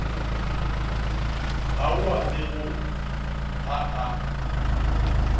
ao a bego a a